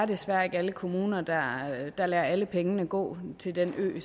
desværre ikke er alle kommuner der der lader alle pengene gå til den ø